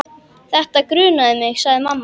Þetta grunaði mig, sagði mamma.